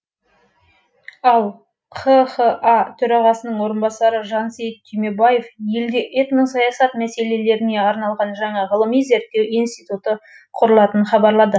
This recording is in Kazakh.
ал қха төрағасының орынбасары жансейіт түймебаев елде этносаясат мәселелеріне арналған жаңа ғылыми зерттеу институты құрылатынын хабарлады